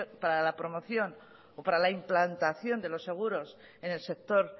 para la promoción o para la implantación de los seguros en el sector